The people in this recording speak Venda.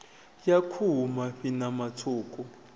ya khuhu mafhi ṋama tswuku